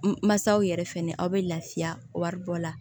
Masaw yɛrɛ fɛnɛ aw be lafiya wari bɔ la